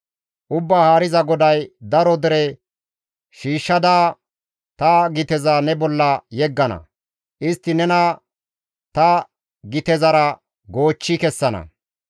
« ‹Ubbaa Haariza GODAY: daro dere shiishshada, ta giteza ne bolla yeggana; istti nena ta gitezara goochchi kessana.